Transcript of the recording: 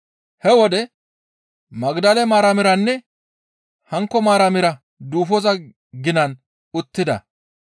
He wode Magdale Maaramiranne hankko Maaramira duufoza ginan uttida.